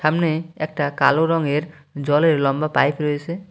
সামনে একটা কালো রঙের জলের লম্বা পাইপ রয়েসে।